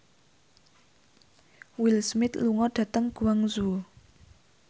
Will Smith lunga dhateng Guangzhou